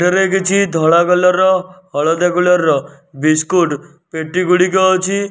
ରେ କିଛି ଧଳା କଲର ର ହଳଦିଆ କଲର ର ବିସ୍କୁଟୁ ପେଟି ଗୁଡ଼ିକ ଅଛି।